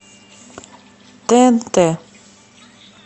тнт